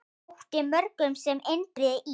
Þótti mörgum sem Indriði í